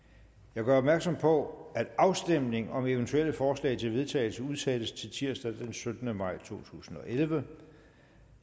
jeg gør opmærksom på at afstemning om eventuelle forslag til vedtagelse udsættes til tirsdag den syttende maj to tusind og elleve